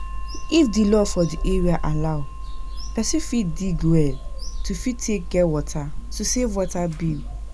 If di law for di area allow, person fit dig well to fit take get water to save water bill